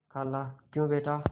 खालाक्यों बेटा